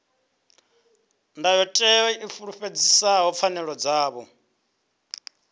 ndayotewa i fulufhedzisa pfanelo dzavho